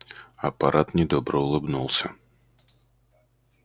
аппарат недобро улыбнулся